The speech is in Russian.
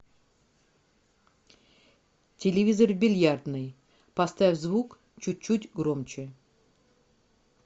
телевизор в бильярдной поставь звук чуть чуть громче